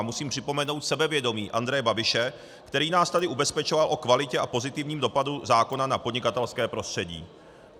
A musím připomenout sebevědomí Andreje Babiše, který nás tady ubezpečoval o kvalitě a pozitivním dopadu zákona na podnikatelské prostředí.